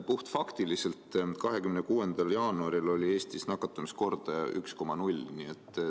Puhtfaktiliselt: 26. jaanuaril oli Eestis nakatumiskordaja 1,0.